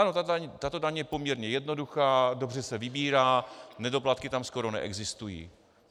Ano, tato daň je poměrně jednoduchá, dobře se vybírá, nedoplatky tam skoro neexistují.